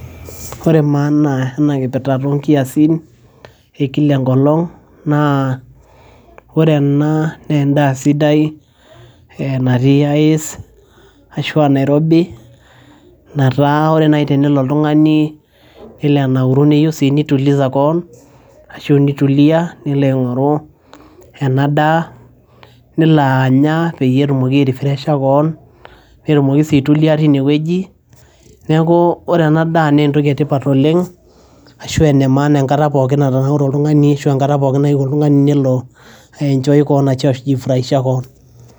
Ore maana enakipirta tonkiasin ekilaenkolong naa ore ena naa endaa sidai e natii ice ashu a enairobi nataa ore nai tenelo oltungani nelo anauru niyieu nituliza kewon ashu nitulia nilo aingoru enadaa nelo anya peyie kewon tinewueji neaku ore ena daa na entoki etipat oleng ashu enemaana Oleng enkata natanaure oltungani ashu enkata pookin nayieu oltungani nelo a enjoy kewon ashu aiji furahisha kewon.